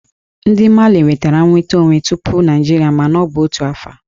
Ndị Mali nwetara nnwere onwe tupu Naịjirịa mana ọ bụ n'otu afọ